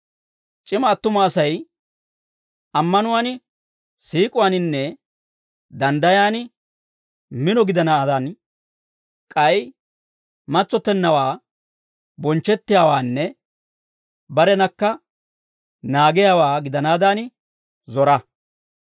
C'ima attuma Asay ammanuwaan, siik'uwaaninne danddayan mino gidanaadan, k'ay matsottennawaa, bonchchettiyaawaanne barenakka naagiyaawaa gidanaadan zora.